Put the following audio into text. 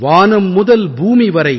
வானம் முதல் பூமி வரை